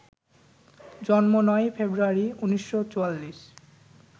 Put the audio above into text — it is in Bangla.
জন্ম: ৯ই ফেব্রুয়ারি, ১৯৪৪